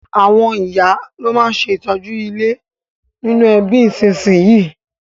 Àwon ìyá lo ma n se ìtọ́jú ilé nínú ẹbí ìsínsinyì